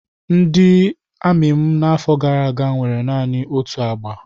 Ndị amị n'afọ gara aga nwere naanị otu agba.